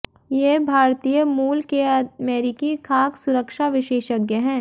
ये भारतीय मूल के अमेरिकी खाद्य सुरक्षा विशेषज्ञ हैं